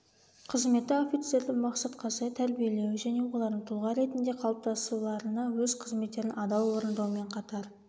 қызметі офицерді мақсатқа сай тәрбиелеу және олардың тұлға ретінде қалыптасуларына өз қызметтерін адал орындаумен қатар